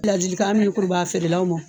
Ladilikan min kun b'a feerelaw ma